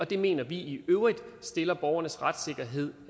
det mener vi i øvrigt stiller borgernes retssikkerhed